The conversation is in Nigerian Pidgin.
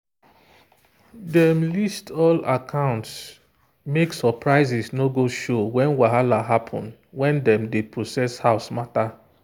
dem list all accounts make surprises no go show when whahala happen when dem dey process house matter